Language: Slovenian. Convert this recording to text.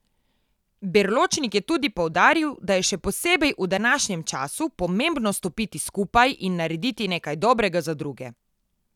Berločnik je tudi poudaril, da je še posebej v današnjem času pomembno stopiti skupaj in narediti nekaj dobrega za druge.